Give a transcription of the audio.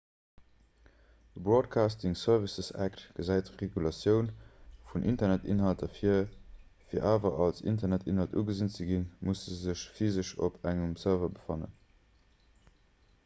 de broadcasting services act gesäit d'regulatioun vun internetinhalter vir fir awer als internetinhalt ugesinn ze ginn musse se sech physesch op engem serveur befannen